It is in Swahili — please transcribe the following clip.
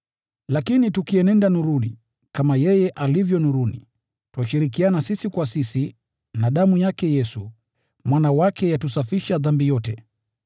Lakini tukienenda nuruni, kama yeye alivyo nuruni, twashirikiana sisi kwa sisi na damu yake Yesu, Mwana wake, yatusafisha dhambi yote.